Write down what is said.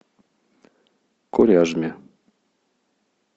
коряжме